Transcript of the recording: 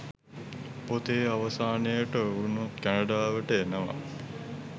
පොතේ අවසානයට ඔවුනුත් කැනඩාවට එනවා.